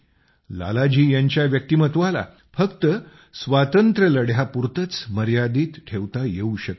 लाला जी यांच्या व्यक्तिमत्वाला फक्त स्वातंत्र्याच्या लढ्यापुरतंच मर्यादित ठेवता येवू शकत नाही